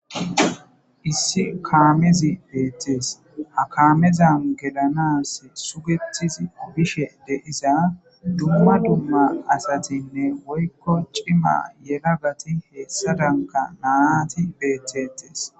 Issi kaamezi beettes ha kaamezan gelanas sugetizi bishe deiza dumma dumma asatinne woykko cima yelagati heessa danka naati beettettes